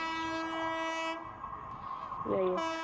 যাই হোক।